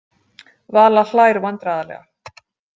Vala hlær vandræðalega.